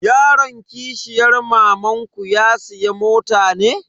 Yaron kishiyar mamanku ya siya mota ne?